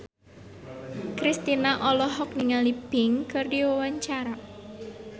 Kristina olohok ningali Pink keur diwawancara